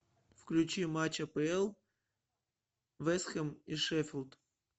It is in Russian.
включи матч апл вест хэм и шеффилд